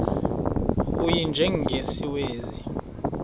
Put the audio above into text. u y njengesiwezi